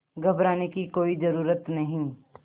घबराने की कोई ज़रूरत नहीं